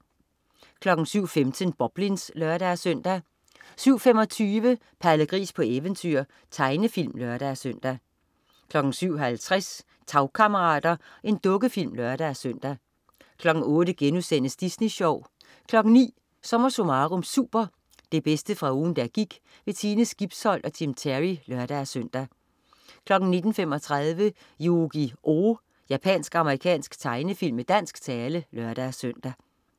07.15 Boblins (lør-søn) 07.25 Palle Gris på eventyr. Tegnefilm (lør-søn) 07.50 Tagkammerater. Dukkefilm (lør-søn) 08.00 Disney Sjov* 09.00 SommerSummarum Super. Det bedste fra ugen der gik. Sine Skibsholt og Tim Terry (lør-søn) 09.35 Yu-Gi-Oh! Japansk-amerikansk tegnefilm med dansk tale (lør-søn)